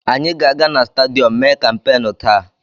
Anyị ga-aga na stadiyọm mee kampeenụ́ taa.